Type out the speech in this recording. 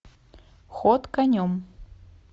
ход конем